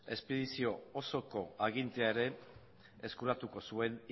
espedizio osoko agintea ere eskuratuko zuen